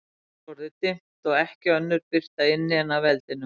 Úti var orðið dimmt, og ekki önnur birta inni en af eldinum.